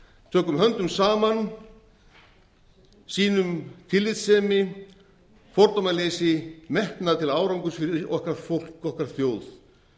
tökum höndum saman sýnum tillitssemi fordómaleysi metnað til árangurs fyrir okkar fólk okkar þjóð